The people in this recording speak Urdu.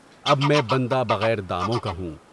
اب میں بندہ بغیر داموں کا ہوں۔